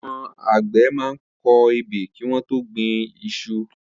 Awọ̀n ágbẹ̀ mà n kọ ẹ́bẹ́ kiwọn tó gbin iṣu